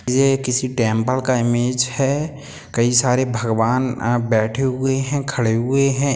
ये किसी टेम्पल का इमेज है कई सारे भगवान बैठे हुए है खड़े हुए है।